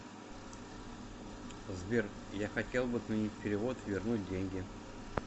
сбер я хотел бы отменить перевод и вернуть деньги